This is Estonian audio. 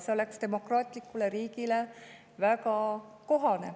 See oleks demokraatlikule riigile väga kohane.